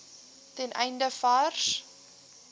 ten einde vars